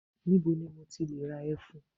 Níbo ni mo ti le ra ẹfun?